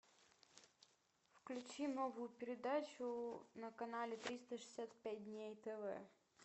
включи новую передачу на канале триста шестьдесят пять дней тв